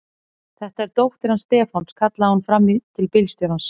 Þetta er dóttir hans Stefáns! kallaði hún fram í til bílstjórans.